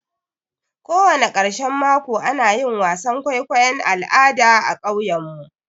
Kowani ƙarshan mako ana yin wasan kwaikwayon al'ada a ƙauyen mu.